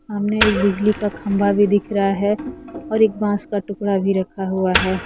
सामने एक बिजली का खंबा भी दिख रहा है और एक बांस का टुकड़ा भी रखा हुआ है।